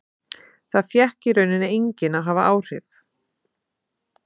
Það fékk í raun enginn að hafa áhrif.